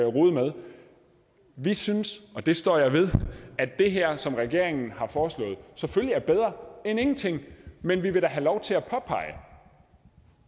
rode med vi synes og det står jeg ved at det her som regeringen har foreslået selvfølgelig er bedre end ingenting men vi vil da have lov til at påpege